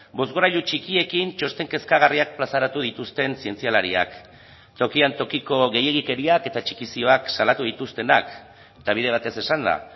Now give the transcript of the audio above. bozgorailu txikiekin txosten kezkagarriak plazaratu dituzten zientzialariak tokian tokiko gehiegikeriak eta txikizioak salatu dituztenak eta bide batez esanda